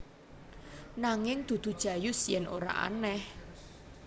Nanging dudu Jayus yen ora aneh